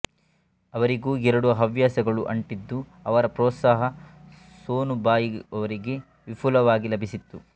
ಆವರಿಗೂ ಎರಡೂ ಹವ್ಯಾಸಗಳು ಆಂಟಿದ್ದು ಆವರ ಪ್ರೊತ್ಸಹ ಸೋನುಬಾಯಿಯವರಿಗೆ ವಿಪುಲವಾಗಿ ಲಭಿಸಿತ್ತು